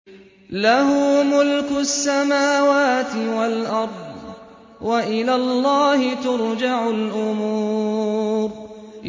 لَّهُ مُلْكُ السَّمَاوَاتِ وَالْأَرْضِ ۚ وَإِلَى اللَّهِ تُرْجَعُ الْأُمُورُ